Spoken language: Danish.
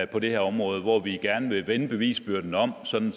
på det her område hvor vi gerne vil vende bevisbyrden om sådan